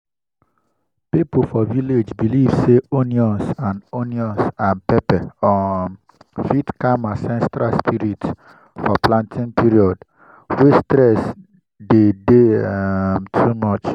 people for village believe say onions and onions and pepper um fit calm ancestral spirit for planting period way stress dey day um too much